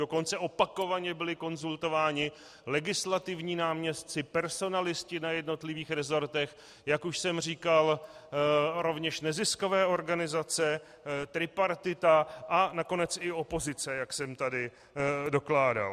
Dokonce opakovaně byli konzultováni legislativní náměstci, personalisté na jednotlivých resortech, jak už jsem říkal rovněž neziskové organizace, tripartita a nakonec i opozice, jak jsem tady dokládal.